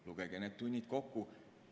Lugege need tunnid kokku!